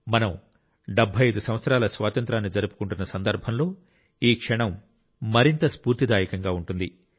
మనం 75 సంవత్సరాల స్వాతంత్ర్యాన్ని జరుపుకుంటున్న సందర్భంలో ఈ క్షణం మరింత స్ఫూర్తిదాయకంగా ఉంటుంది